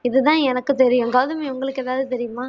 இதுதான் எனக்கு தெரியும் கௌதமி உங்களுக்கு ஏதாவது தெரியுமா?